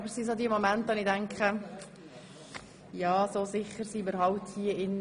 In solchen Momenten denke ich jeweils, dass wir hier drin nicht sehr sicher sind.